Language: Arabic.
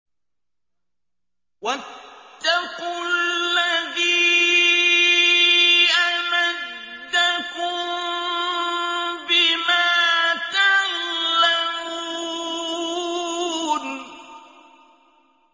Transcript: وَاتَّقُوا الَّذِي أَمَدَّكُم بِمَا تَعْلَمُونَ